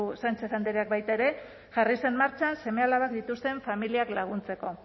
sánchez andreak baita ere jarri zen martxan seme alabak dituzten familiak laguntzeko